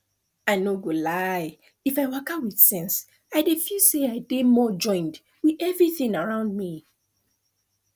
i no go lie if i waka with sense i dey feel say i dey more joined with everything around me